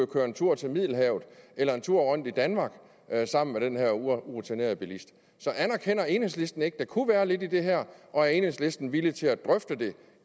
køre en tur til middelhavet eller en tur rundt i danmark sammen med den her urutinerede bilist anerkender enhedslisten ikke at der kunne være lidt i det her og er enhedslisten villig til at drøfte det